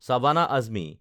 Shabana Azmi